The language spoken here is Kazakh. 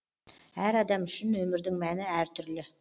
әр адам үшін өмірдің мәні әртүрлі